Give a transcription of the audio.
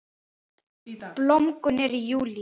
Blómgun er í júlí.